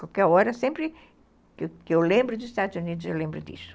Qualquer hora, sempre que eu lembro dos Estados Unidos, eu lembro disso.